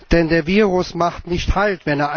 Denn das Virus macht nicht halt.